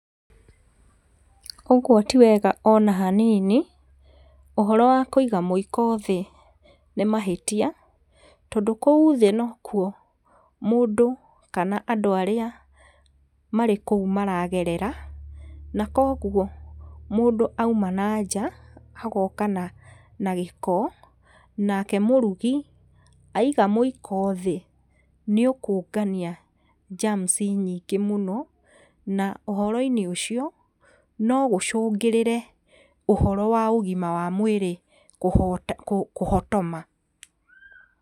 Ũguo ti wega ona hanini, ũhoro wa kũiga mũiko thĩ nĩ mahĩtia tondũ kũu thĩ nokuo mũndũ kana andũ arĩa marĩ kũu maragerera, na koguo mũndũ auma nanja, agoka na gĩko nake mũrugi aiga mũiko thĩ nĩ ũkũngania germs nyingĩ mũno, na ũhoro-inĩ ũcio no gũcũngĩrĩre ũhoro wa ũgima wa mwĩrĩ kũhotoma.